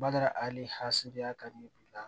Bada a ni hamiya ka ɲɛ